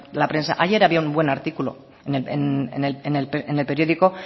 leer la prensa ayer había un buen artículo en el periódico